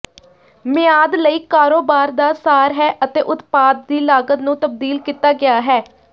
ਮਿਆਦ ਲਈ ਕਾਰੋਬਾਰ ਦਾ ਸਾਰ ਹੈ ਅਤੇ ਉਤਪਾਦ ਦੀ ਲਾਗਤ ਨੂੰ ਤਬਦੀਲ ਕੀਤਾ ਗਿਆ ਹੈ